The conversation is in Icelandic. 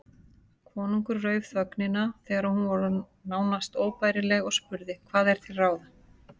Konungur rauf þögnina þegar hún var orðin nánast óbærileg og spurði:-Hvað er til ráða?